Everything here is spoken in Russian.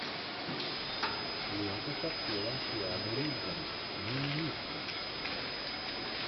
лента с актером киану ривзом мимимишки